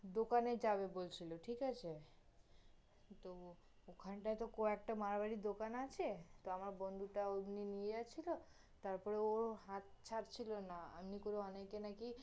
দোকানে যাবে বলছিল, ঠিক আছে? তহ, ওখান টায় হত কয়েকটা মাড়োয়ারির দোকান আছে, তো আমার বন্ধুটা ওমনি নিয়ে যাচ্ছিল, তারপর ওর হাত ছাড়ছিল না, এমনি করে অনেকে নাকি